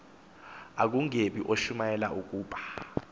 akungebi uyashumayela ukuba